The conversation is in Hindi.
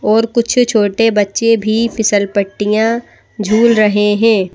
और कुछ छोटे बच्चे भी फिसलपट्टियां झूल रहे हैं।